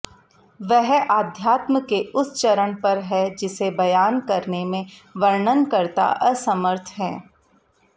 वह आध्यात्म के उस चरण पर है जिसे बयान करने में वर्णनकर्ता असमर्थ हैं